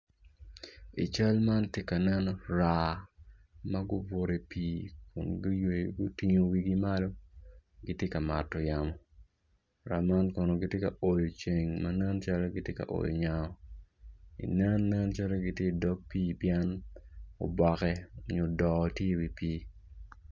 Cal man tye ka nen raa ma gubutu idye pii kun guywer gutingo wigi malo gitye ka mato yamo raa man kono gitye ka oyo ceng ma nen calo kono gitye ka oyo nyango i nen, nen calo gitye idog pii pien oboke nyo doo tye i wi pii.